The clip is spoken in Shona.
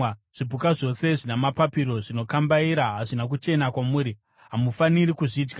Zvipuka zvose zvina mapapiro zvinokambaira hazvina kuchena kwamuri; hamufaniri kuzvidya.